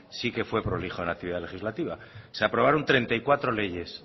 sí que fue prolijo en la actividad legislativa se aprobaron treinta y cuatro leyes